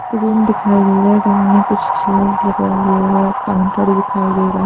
room दिखाई दे रहा है रूम में कुछ चेयर लगा हुआ है काउंटर दिखाई दे रहा--